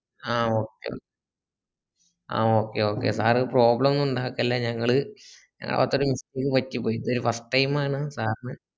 ആഹ് okay ന്ന ah okay okay sir problem ഒന്നുണ്ടാക്കല്ല ഞങ്ങള് ഞങ്ങക്ക് ഒരു mistake പറ്റി പോയി ഇപ്പൊ ഒരു first time ആണ് sir ന്